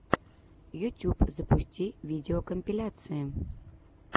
ютюб запусти видеокомпиляции